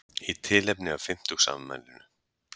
Í tilefni af fimmtugsafmælinu